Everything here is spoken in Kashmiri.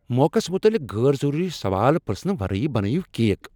موقعس متعلق غٲر ضروری سوال پرژھنہٕ ورٲیۍ بنٲیِو کیک۔